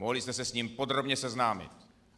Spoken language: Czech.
Mohli jste se s ním podrobně seznámit.